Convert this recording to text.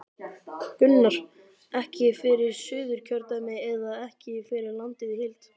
Gunnar: Ekki fyrir Suðurkjördæmi eða ekki fyrir landið í heild?